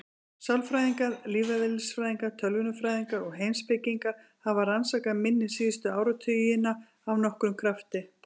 Sálfræðingar, lífeðlisfræðingar, tölvunarfræðingar og heimspekingar hafa rannsakað minni síðustu áratugina af nokkrum krafti.